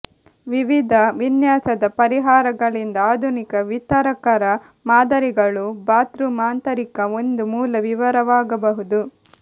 ವಿವಿಧ ವಿನ್ಯಾಸದ ಪರಿಹಾರಗಳಿಂದಾಗಿ ಆಧುನಿಕ ವಿತರಕ ಮಾದರಿಗಳು ಬಾತ್ರೂಮ್ ಆಂತರಿಕದ ಒಂದು ಮೂಲ ವಿವರವಾಗಬಹುದು